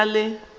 go tloga e sa le